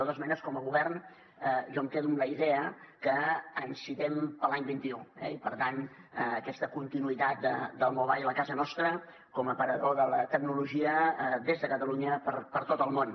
de totes maneres com a govern jo em quedo amb la idea que ens citem per a l’any vint un eh i per tant aquesta continuïtat del mobile a casa nostra com a aparador de la tecnologia des de catalunya per tot el món